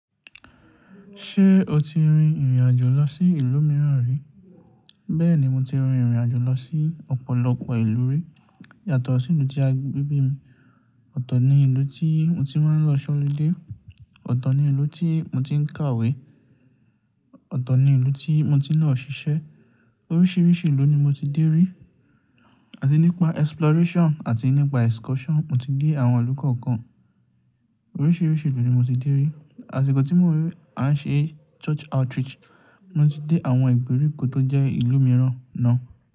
Ṣé o ti rin ìrìn-àjò lọ sí ìlú mìíràn rí? Bẹ́ẹ̀ni, mo ti rin ìrìn-àjò lọ sí ọ̀pọ̀lọpọ̀ ìlú rí. Yàtọ̀ sí ìlú tí a bí mi. Ọ̀tọ̀ ni ìlú tí mo ti máa ń lọ ṣọ́lé dé. Ọ̀tọ̀ ni ìlú tí mo ti ń kàwé. Ọ̀tọ̀ ni ìlú tí mo ti ń lọ ṣiṣẹ́. Oríṣiríṣi ìlú ni mo ti dé rí. Àti nípa exploration àti nípa excursion, mo ti dé àwọn ìlú kọ̀ọ̀kan. Oríṣiríṣi ìlú ni mo ti dé rí. Àti ìgbà tí mo wé, a ń ṣe church outreach. Mo ti dé àwọn ìgbèríko tó jẹ́ ìlú mìíràn náà.